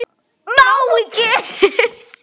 Má ekki.